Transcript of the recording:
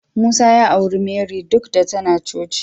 Musa ya auri Marry duk da tana coci.